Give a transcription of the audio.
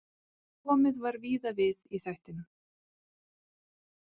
Komið var víða við í þættinum.